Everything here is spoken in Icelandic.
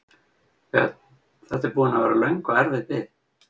Björn: Þetta er búin að vera löng og erfið bið?